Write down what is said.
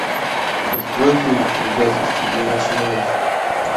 открой фильм предательство для начинающих